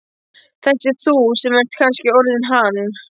Þessi þú sem ert kannski orðinn hann.